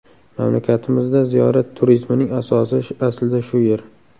Mamlakatimizda ziyorat turizmining asosi aslida shu yer.